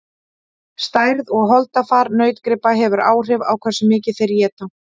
stærð og holdafar nautgripa hefur áhrif á hversu mikið þeir éta